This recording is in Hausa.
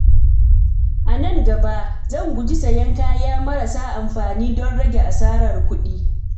A nan gaba, zan guji sayen kaya marasa amfani don rage asarar kuɗi.